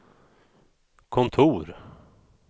kontor